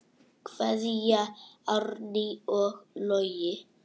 Kveðja, Árný og Logi.